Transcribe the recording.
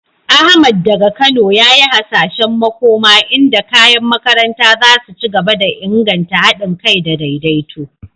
Ahmad, daga Kano, ya yi hasashen makoma inda kayan makaranta za su ci gaba da inganta hadin kai da daidaito.